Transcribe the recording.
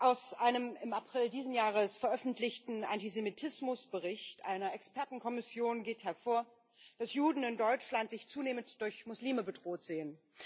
Aus einem im April dieses Jahres veröffentlichten Antisemitismusbericht einer Expertenkommission geht hervor, dass Juden in Deutschland sich zunehmend durch Muslime bedroht sehen.